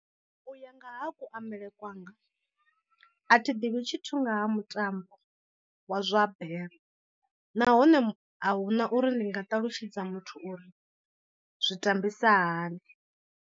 U ya nga ha kuambele kwanga a thi ḓivhi tshithu nga ha mutambo wa zwa bere, nahone a huna uri ndi nga ṱalutshedza muthu uri zwi tambisa hani.